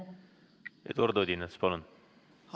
Eduard Odinets, palun!